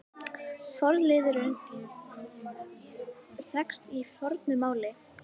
Forliðurinn þekkist í fornu máli.